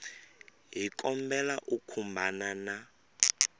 hi kombela u khumbana na